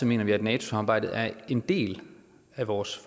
mener vi at nato samarbejdet er en del af vores